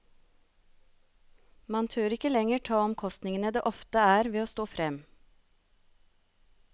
Mange tør ikke lenger ta omkostningene det ofte er ved å stå frem.